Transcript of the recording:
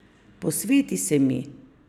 Posveti se mi!